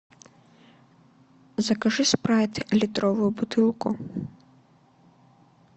закажи спрайт литровую бутылку